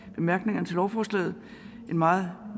i bemærkningerne til lovforslaget er en meget